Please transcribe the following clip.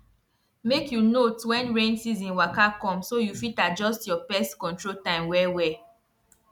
make you note when rain season waka come so you fit adjust your pest control time wellwell